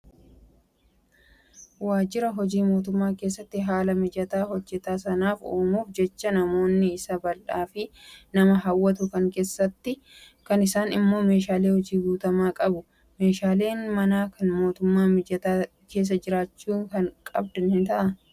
Waajjira hojii mootummaa keessatti haala mijataa hojjataa sanaaf uumuuf jecha manni isaa bal'aa fi nama hawwatu kan keessa isaatti immoo meeshaalee hojiin guutamee qaba. Meeshaaleen mana hojii mootummaa mijataa keessa jiraachuu qaban kam fa'aa?